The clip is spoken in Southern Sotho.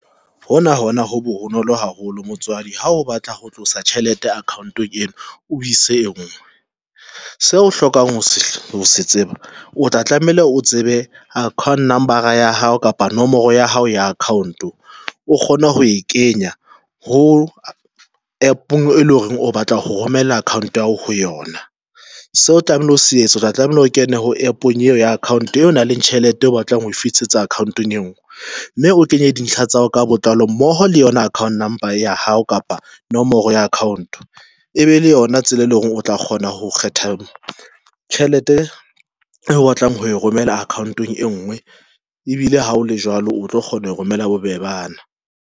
Hona hona ho bonolo haholo motswadi ha o batla ho tlosa tjhelete a akhaontong eno, o ise engwe seo o hlokang ho se se tseba o tla tlameile o tsebe account number ya hao kapa nomoro ya hao ya account o kgone ho e kenya ho APP-ong e leng hore o batla ho romella account ya hao ho yona so tlamehile o se etsa tla tlameile kene ho APP-ong eo ya account eo nang le tjhelete o batlang ho e fitisetsa account eng e nngwe mme o kenye dintlha tsa hao ka botlalo mmoho le yona account number ya hao kapa nomoro ya account e be le yona tsela, e leng hore o tla kgona ho kgetha moo tjhelete e o o batlang ho e romela akhaontong e ngwe ebile ha o le jwalo, o tlo kgona ho romela bobebana.